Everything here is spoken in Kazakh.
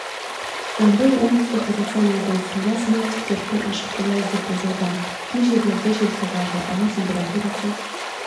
жамбыл оңтүстік қазақстан облысында синоптиктер күн ашық болады деп болжауда кей жерлерінде жел соғады ауа температурасы